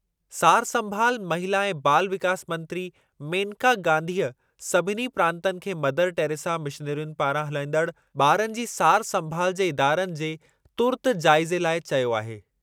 सार संभाल, महिला ऐं बाल विकास मंत्री मेनका गांधीअ सभिनी प्रांतनि खे मदर टैरेसा मिशनरियुनि पारां हलाइंदड़ु ॿारनि जी सार संभाल जे इदारनि जे तुर्त जाइज़े लाइ चयो आहे।